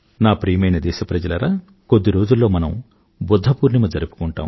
ప్రియమైన నా దేశ ప్రజలారా కొద్ది రోజుల్లో మనం బుధ్ధపూర్ణిమ జరుపుకుంటాం